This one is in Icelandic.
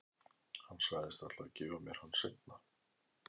Hann sagðist ætla að gefa mér hann seinna.